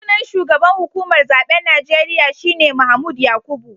Sunan shugaban hukumar zaben Najeriya shi ne Mahmood Yakubu